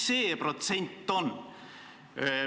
Mis see protsent on?